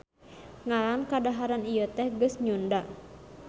Ngaran kadaharan ieu teh geus nyunda